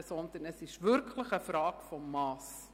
Es ist wirklich eine Frage des Masses.